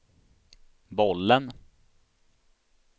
bollen